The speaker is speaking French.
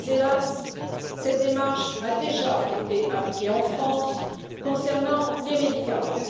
Hélas, cette démarche a déjà été appliquée en France concernant les médicaments.